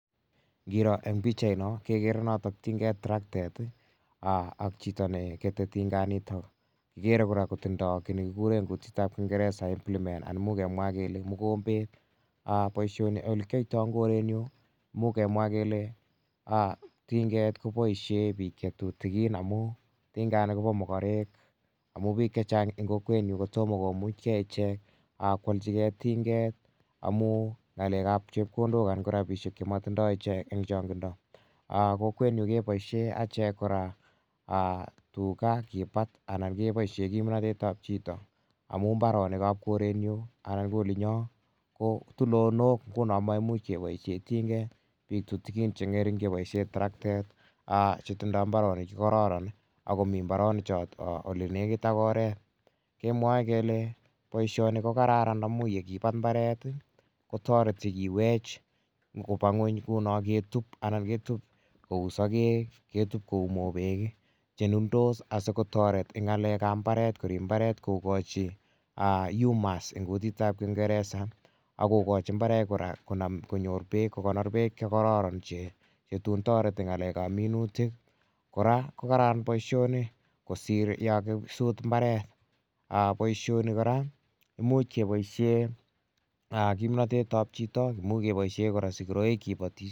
Ngiro eng' pichaino kekere notok tinget, toroktet i, ak chito ne kete tinganitok. Kikere kora kotindai ki ne kikure eng' kutit ap kingeresa implemet, imuch kemwa kele mukombet. Poishoni ole kiyaitai eng' korenyu imuch kemwa kele tinget ko poishe pik che tutikin amu tingani ko pa makarek amu pik che chang' kokwetnyu ko toma komuchgei ichek ko alchigei tinget amu ng'alek ap chepkondok anan ko rapishek che matindai ichek eng' chang'indo. Kokwetnyu kepoishe achek kora tuga kipat anan kepoishe kimnatet ap chito amu mbaronik ap koretnyu anan ko olinyo ko tulondok nguno ko maimuch keposhe tinget. Pik tutikin, che ng'ring' che poishe toroktet che tindai mbaronik che kararan ako mi mbaronichotok ole nekit ak oret. Kemwae kele poishoni ko kararan amu ye kipat mbaret ko tareti kiwech kopa ng'uny kou no anan ketup kou sakek, ketup kou mopeek che nundos asikotaret ng'alek ap mbaret korip mbaret kokachi humus eng' kutit ap kingeresa ak kokachi mbaret kora kon konyor peek, ko konor peek che kararan che tun tareti ng'alek ap minutik. Kora ko kararan poishoni kosir ye kakisut mbaret. Poishoni kora imuch kepoishe kimnatet ap chito, imuch kora kepoishe sikiraik kipatishe.